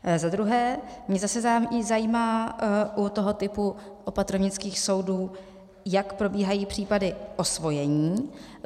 Za druhé mě zase zajímá u toho typu opatrovnických soudů, jak probíhají případy osvojení.